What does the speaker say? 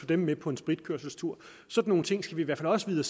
dem med på en spritkørselstur sådan nogle ting skal vi i hvert fald også vide